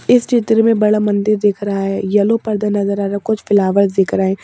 इस चित्र में बड़ा मंदिर दिख रहा है येलो पर्दा नजर आ रहा है कुछ फ्लावर्स दिख रहे --